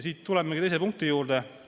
Siit jõuame teise punkti juurde.